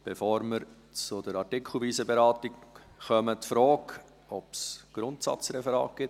Bevor wir zur artikelweisen Beratung kommen, stelle ich die Frage, ob es Grundsatzreferate gibt.